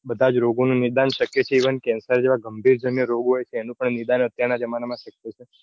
બધા જ રોગો નું નિદાન શક્ય છે cancer જેવા ગંભીર જન્ય રોગો હોય તો એનું પણ નિદાન અત્યાર ના જમાના માં શક્ય છે.